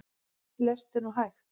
Lestu nú hægt!